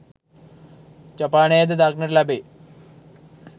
ජපානයේ ද දක්නට ලැබේ.